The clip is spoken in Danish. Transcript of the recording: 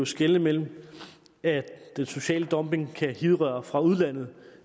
skelne mellem at den sociale dumping kan hidrøre fra udlandet